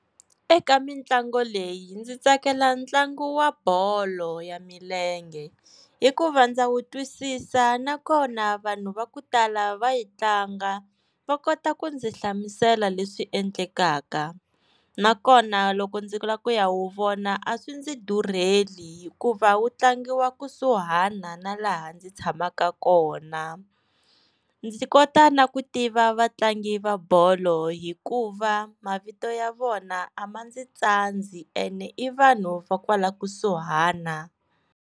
Eka mintlango leyi ndzi tsakela ntlangu wa bolo ya milenge, hikuva ndza wu twisisa na kona vanhu va ku tala va yi tlanga va kota ku ndzi hlamusela leswi endlekaka, nakona loko ndzi lava ku ya wu vona a swi ndzi durheli hikuva wu tlangiwa kusuhana na laha ndzi tshamaka kona. Ndzi kota na ku tiva vatlangi va bolo hikuva mavito ya vona a ma ndzi tsandzi e ne i vanhu va kwala kusuhana.